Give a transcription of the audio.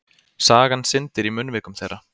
Sagan syndir í munnvikum þeirra.